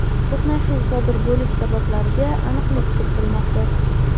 to‘qnashuv sodir bo‘lish sabablariga aniqlik kiritilmoqda.